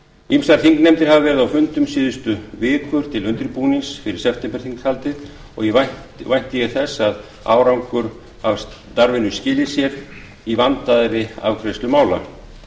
ýmsar þingnefndir hafa verið á fundum síðustu vikur til undirbúnings fyrir septemberþinghaldið og vænti ég að árangur þess starfs skili sér í vandaðri afgreiðslu mála